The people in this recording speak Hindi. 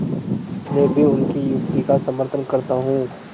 मैं भी उनकी युक्ति का समर्थन करता हूँ